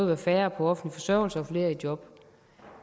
være færre på offentlig forsørgelse og flere i job